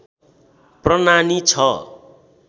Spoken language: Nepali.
प्रनानि ६